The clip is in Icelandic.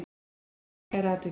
Steinunn hyggst kæra atvikið.